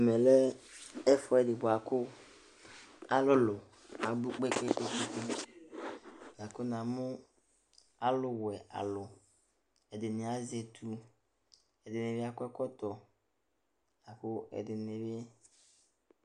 Ɛmɛ lɛ ɛfʋɛdɩ bʋa kʋ alʋlʋ abʋ kpekpekpe; akʋ namʋ alʋ wɛ alʋ ɛdɩnɩ azɛ ,etu, ɛdɩnɩ akɔ ɛkɔtɔ la kʋ ɛdɩnɩ eli